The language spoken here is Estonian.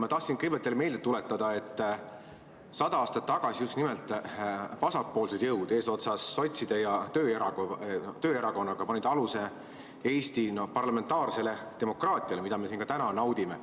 Ma tahtsin kõigepealt teile meelde tuletada, et 100 aastat tagasi just nimelt vasakpoolsed jõud eesotsas sotside ja tööerakonnaga panid aluse Eesti parlamentaarsele demokraatiale, mida me siin ka täna naudime.